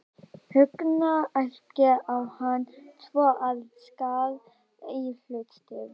Högna, æpti á hann svo að skar í hlustir hverfisbúa.